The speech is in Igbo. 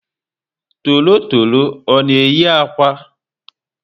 Torotoro ọ na eyi ákwà?